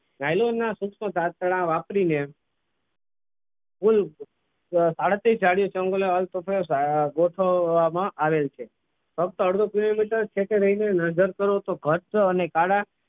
નાયલોનના સૂક્ષ્મ તંત્ડા વાપરીને કુલ સાડત્રીસ જાડીયો ગોઠવવામાં આવેલ છે ફક્ત અડધો kilometer જ ઠેકે રહીને નજર કરો તો ઘટ ચ અને કાટા